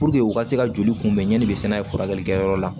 u ka se ka joli kunbɛn yanni i bɛ se n'a ye furakɛli kɛ yɔrɔ la